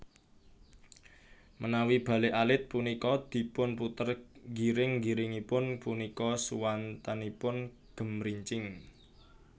Menawi bale alit punika dipun puter giring giringipun punika suwantenipun gemrincing